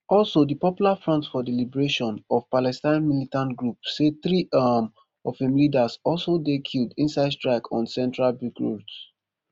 also di popular front for the liberation of palestine militant group say three um of im leaders also dey killed inside strike on central beirut